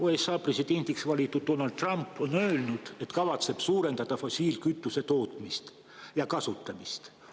USA presidendiks valitud Donald Trump on öelnud, et kavatseb suurendada fossiilkütuse tootmist ja kasutamist.